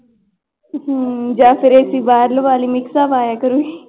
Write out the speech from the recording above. ਹਮ ਜਾਂ ਫਿਰ AC ਬਾਹਰ ਲਵਾ ਲਈ mix ਹਵਾ ਆਇਆ ਕਰੇਗੀ।